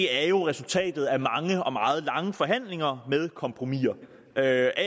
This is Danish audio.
er jo resultatet af mange og meget lange forhandlinger med kompromiser af